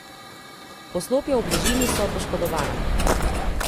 Poslopja v bližini so poškodovana.